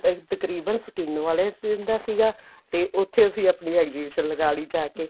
ਤਕਰੀਬਨ skin ਵਾਲੀਆਂ ਦਾ ਸੀਗਾ ਤੇ ਉੱਥੇ ਅਸੀਂ ਆਪਣੀ exhibition ਲਗਾ ਲਈ ਜਾਕੇ